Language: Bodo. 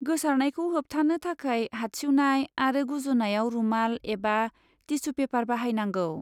गोसारनायखौ होबथानो थाखाय हादसिउनाय आरो गुजुनायाव रुमाल एबा टिसु पेपार बाहायनांगौ।